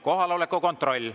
Kohaloleku kontroll.